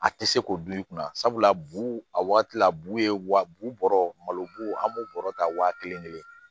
A tɛ se k'o bil'i kunna sabula bu a waati la bu ye wa bu bɔrɔ malo bu an b'o bɔrɔ ta wa kelen kelen